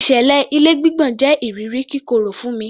Ìṣẹ̀lẹ̀ ilé gbígbọ̀n jẹ iriri kíkorò fún mi